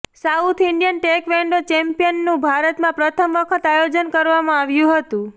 south Indian taekwondo ચેમ્પિયનનું ભારતમાં પ્રથમ વખત આયોજન કરવામાં આવ્યું હતું